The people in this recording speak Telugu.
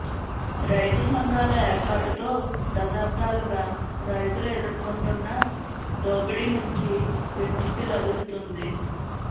రైతు సంఘాల ఏర్పాటుతో దశాబ్దాలుగా రైతులు ఎదుర్కొంటున్న దోపిడీ నుంచి విముక్తి లభిస్తుంది